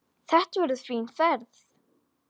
Þetta verður fín ferð.